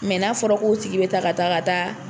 n'a fɔra k'o tigi be taa ka taa ka taa